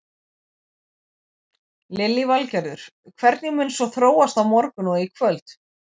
Lillý Valgerður: Hvernig mun svo þróast á morgun og í kvöld?